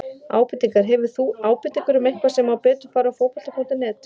Ábendingar: Hefur þú ábendingar um eitthvað sem má betur fara á Fótbolta.net?